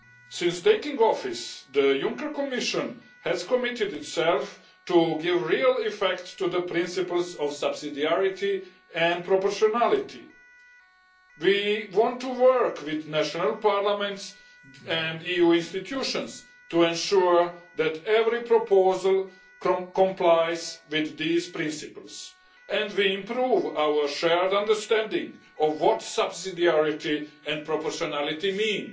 Since taking office, the Juncker Commission has committed itself to give real effect to the principles of subsidiarity and proportionality. We want to work with national parliaments and EU institutions to ensure that every proposal complies with these principles and we improve our shared understanding of what subsidiarity and proportionality mean.